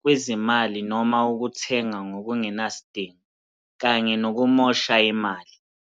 kwezimali noma ukuthenga ngokungenasidingo kanye nokumosha imali.